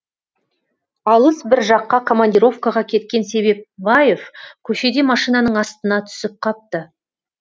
алыс бір жаққа командировкаға кеткен себепбаев көшеде машинаның астына түсіп қапты